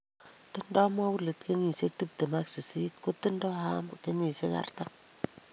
Tindoi Moulid kenyisiek tiptem ak sisit kotindoi Ahmed kenyisiek artam